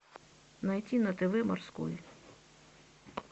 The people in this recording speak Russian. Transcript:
найти на тв морской